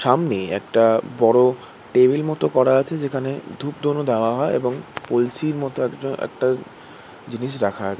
সামনে একটা বড় টেবিল মতো করা আছে যেখানে ধূপধুনো দেয়া হয় এবং কলসির মতো একটা একটা জিনিস রাখা আছে।